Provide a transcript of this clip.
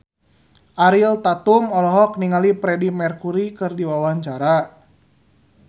Ariel Tatum olohok ningali Freedie Mercury keur diwawancara